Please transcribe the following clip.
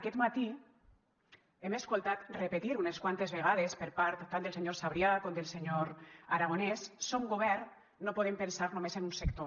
aquest matí hem escoltat repetir unes quantes vegades per part tant del senyor sabrià com del senyor aragonès som govern no podem pensar només en un sector